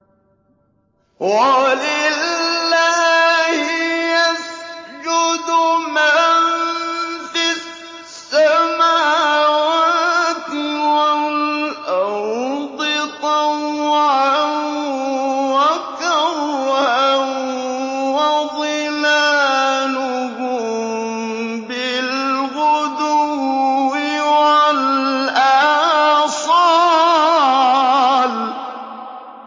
وَلِلَّهِ يَسْجُدُ مَن فِي السَّمَاوَاتِ وَالْأَرْضِ طَوْعًا وَكَرْهًا وَظِلَالُهُم بِالْغُدُوِّ وَالْآصَالِ ۩